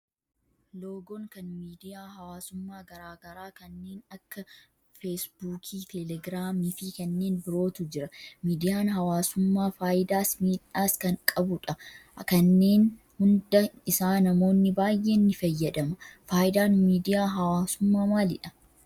Loogoon kan miidiyaa hawaasummaa garaa garaa kanneen akka feesbuukii, telegiraamii fi kanneen birootu jira. Miidiyaan hawaasummaa faayidaas miidhaas kan qabudha. Kanneen hunda isaa namoonni baayyeen ni fayyadama. Faayidaan miidiyaa hawaasummaa maalidha?